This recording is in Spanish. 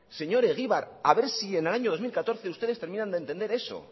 señor egibar a ver si en el año dos mil catorce ustedes terminan de entender eso